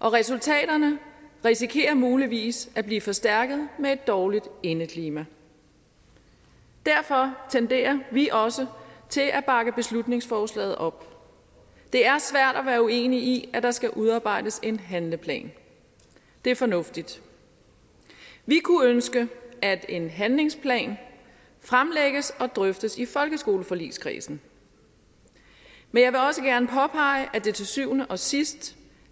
og resultaterne risikerer muligvis at blive forstærket af et dårligt indeklima derfor tenderer vi også til at bakke beslutningsforslaget op det er svært at være uenig i at der skal udarbejdes en handleplan det er fornuftigt vi kunne ønske at en handlingsplan fremlægges og drøftes i folkeskoleforligskredsen men jeg vil også gerne påpege at det til syvende og sidst